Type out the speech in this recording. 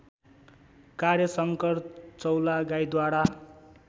कार्य शंकर चौलागाईद्वारा